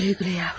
Güle-güle yavrum.